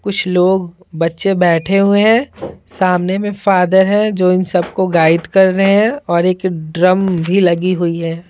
कुछ लोग बच्चे बैठे हुए हैं सामने में फादर है जो इन सबको गाइड कर रहे हैं और एक ड्रम भी लगी हुई है।